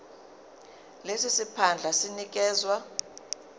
lesi siphandla sinikezwa